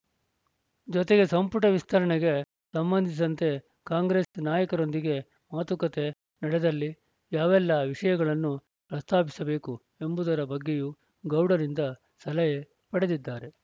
ಜೊತೆಗೆ ಸಂಪುಟ ವಿಸ್ತರಣೆಗೆ ಸಂಬಂಧಿಸಿದಂತೆ ಕಾಂಗ್ರೆಸ್‌ ನಾಯಕರೊಂದಿಗೆ ಮಾತುಕತೆ ನಡೆದಲ್ಲಿ ಯಾವೆಲ್ಲ ವಿಷಯಗಳನ್ನು ಪ್ರಸ್ತಾಪಿಸಬೇಕು ಎಂಬುದರ ಬಗ್ಗೆಯೂ ಗೌಡರಿಂದ ಸಲಹೆ ಪಡೆದಿದ್ದಾರೆ